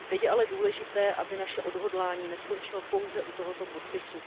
Teď je ale důležité, aby naše odhodlání neskončilo pouze u tohoto podpisu.